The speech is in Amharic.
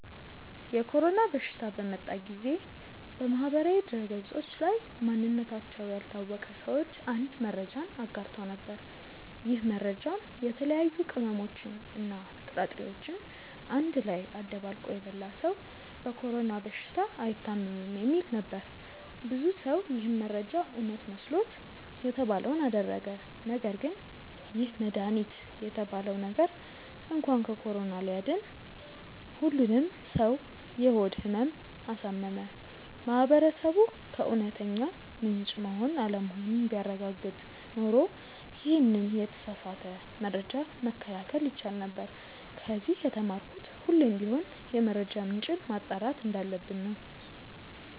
የኮሮና በሽታ በመጣ ጊዜ በማህበራዊ ድህረገጾች ላይ ማንነታቸው ያልታወቀ ሰዎች አንድ መረጃን አጋርተው ነበር። ይህ መረጃም የተለያዩ ቅመሞችን እና ጥራጥሬዎችን አንድ ላይ አደባልቆ የበላ ሰው በኮሮና በሽታ አይታምም የሚል ነበር። ብዙ ሰው ይህ መረጃ እውነት መስሎት የተባለውን አደረገ ነገርግን ይህ መድሃኒት የተባለው ነገር እንኳን ከኮሮና ሊያድን ሁሉንም ሰው የሆድ ህመም አሳመመ። ማህበረሰቡ ከእውነተኛ ምንጭ መሆን አለመሆኑን ቢያረጋግጥ ኖሮ ይሄንን የተሳሳተ መረጃ መከላከል ይቻል ነበር። ከዚ የተማርኩት ሁሌም ቢሆን የመረጃ ምንጭን ማጣራት እንዳለብን ነው።